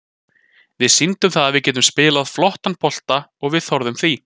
Við sýndum það að við getum spilað flottan bolta og við þorðum því.